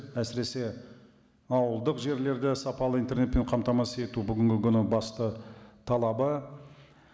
әсіресе ауылдық жерлерде сапалы интернетпен қамтамасыз ету бүгінгі күні басты талабы